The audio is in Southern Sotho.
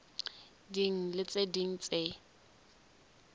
ding le tse ding tse